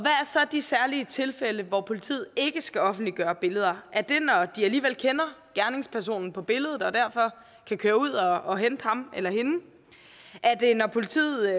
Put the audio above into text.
så de særlige tilfælde hvor politiet ikke skal offentliggøre billeder er det når de alligevel kender gerningspersonen på billedet og derfor kan køre ud og hente ham eller hende er det når politiet